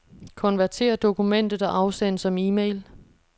Konvertér dokumentet og afsend som e-mail.